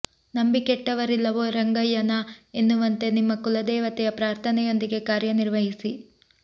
ನಂಬಿ ಕೆಟ್ಟವರಿಲ್ಲವೋ ರಂಗಯ್ಯನಾ ಎನ್ನುವಂತೆ ನಿಮ್ಮ ಕುಲದೇವತೆಯ ಪ್ರಾರ್ಥನೆಯೊಂದಿಗೆ ಕಾರ್ಯ ನಿರ್ವಹಿಸಿ